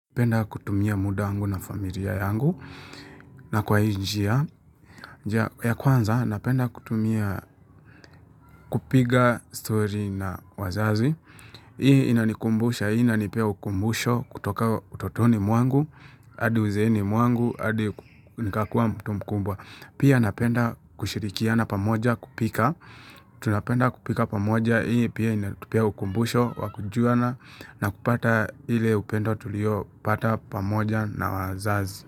Napenda kutumia muda wangu na familia yangu na kwa hii njia ya kwanza napenda kutumia kupiga stori na wazazi Hii inanikumbusha, hii inanipa ukumbusho kutoka utotoni mwangu, adi uzeeni mwangu, hadi nikakua mtu mkumbwa Pia napenda kushirikiana pamoja kupika Tunapenda kupika pamoja hii pia inatupea ukumbusho wakujuana na kupata ule upendo tulio pata pamoja na wazazi.